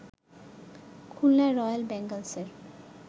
Khulna Royal বেঙ্গলসের